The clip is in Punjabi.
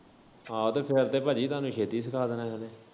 ਹਾਂ ਤੇ ਫੇਰ ਤੇ ਭਾਜੀ ਤੁਹਾਨੂੰ ਛੇਤੀ ਸਿੱਖਾ ਦੇਣਾ ਹੀ ਉਨੇ।